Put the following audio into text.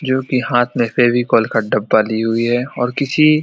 जो की हाथ में फेविकोल का डब्बा ली हुई है और किसी --